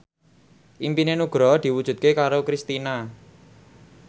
impine Nugroho diwujudke karo Kristina